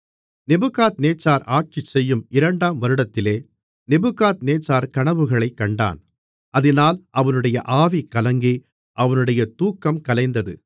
Nebuchadnezzar ஆட்சிசெய்யும் இரண்டாம் வருடத்திலே நேபுகாத்நேச்சார் கனவுகளைக் கண்டான் அதினால் அவனுடைய ஆவி கலங்கி அவனுடைய தூக்கம் கலைந்தது